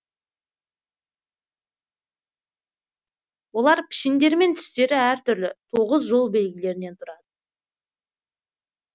олар пішіндері мен түстері әр түрлі тоғыз жол белгілерінен тұрады